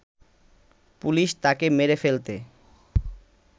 police তাকে মেরে ফেলতে